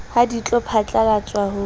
ha di tlo phatlalatswa ho